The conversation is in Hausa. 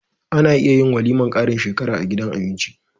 Ana iya yin walimar karin shekara a gidan abinci